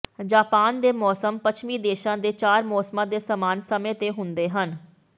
Japan ਦੇ ਮੌਸਮ ਪੱਛਮੀ ਦੇਸ਼ਾਂ ਦੇ ਚਾਰ ਮੌਸਮਾਂ ਦੇ ਸਮਾਨ ਸਮੇਂ ਤੇ ਹੁੰਦੇ ਹਨ